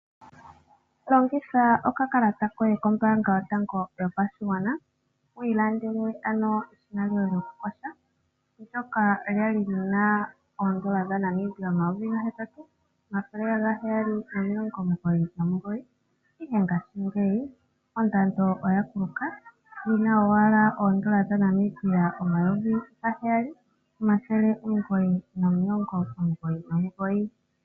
Longitha okakalata koye kombaanga yotango yopashigwana wiilandele eshina lyokuyoga ndyoka lyali lyina oondola N$ 8 799, ihe ngaashingeyi ondando oyakuluka olina ashike oondola N$ 7 999.